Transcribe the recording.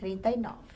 trinta e nove.